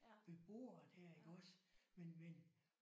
Ved bordet her iggås men men